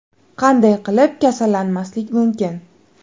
Qanday qilib kasallanmaslik mumkin?